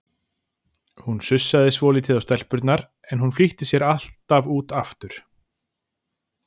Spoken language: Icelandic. Hún sussaði svolítið á stelpurnar, en hún flýtti sér alltaf út aftur.